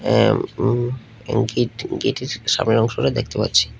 এ উ গেট গেটের সামনের অংশটা দেখতে পাচ্ছি।